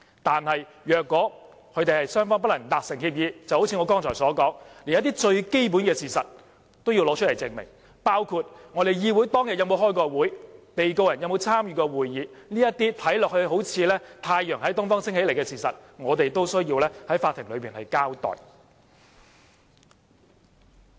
但如果雙方不能達成協議，一如我剛才所說，連一些最基本的事實也要提供證明，包括我們議會當天有沒有召開會議、被告人有沒有參與過會議等，這些看來好像太陽從東方升起的事實，我們也必須在法庭內交代。